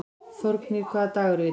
Þórgnýr, hvaða dagur er í dag?